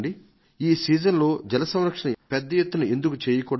ఈ సీజన్లో జల సంరక్షణ పెద్ద ఎత్తున ఎందుకు చేయకూడదు